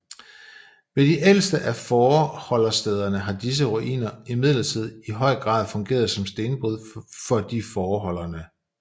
Ved de ældste af fåreholderstederne har disse ruiner imidlertid i høj grad fungeret som stenbrud for de fåreholderne